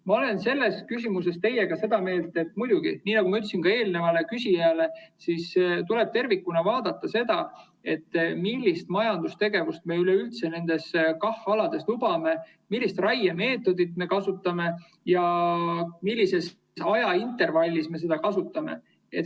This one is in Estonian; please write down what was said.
Ma olen selles küsimuses teiega sama meelt, et muidugi, nagu ma ütlesin ka eelnevale küsijale, tuleb tervikuna vaadata, millist majandustegevust me üleüldse nendel KAH‑aladel lubame, millist raiemeetodit me kasutame ja millise ajaintervalliga me seda kasutame.